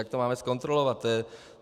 Jak to máme zkontrolovat?